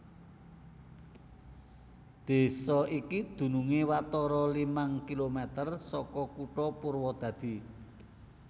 Désa iki dunungé watara limang kilomèter saka Kutha Purwadadi